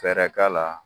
Fɛɛrɛ k'a la